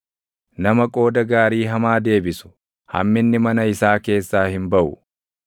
Nama qooda gaarii hamaa deebisu, hamminni mana isaa keessaa hin baʼu.